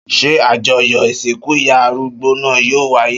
Ṣé àjọyọ̀ ìsìnkú ìyá arúgbó náà yóò wáyé?